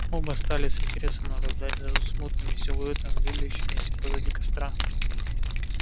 оба стали с интересом наблюдать за смутными силуэтами двигающимися позади костра